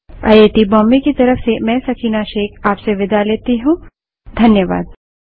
यह स्क्रिप्ट देवेन्द्र कैरवान द्वारा अनुवादित है तथा आई आई टी बॉम्बे की तरफ से मैं सकीना अब आप से विदा लेती हूँ